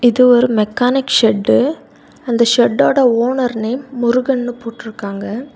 இது ஒரு mechanic shed அந்த செட் ஓட ஓனர் நேம் முருகன்னு போட்ருக்காங்க.